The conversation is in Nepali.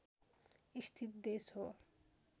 स्थित देश हो